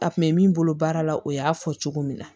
A kun bɛ min bolo baara la o y'a fɔ cogo min na